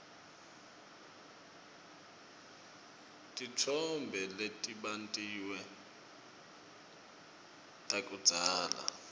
titfombe letibatiwe takudzala